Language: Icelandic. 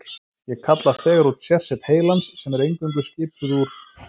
Ég kalla þegar út sérsveit heilans, sem er eingöngu skipuð úr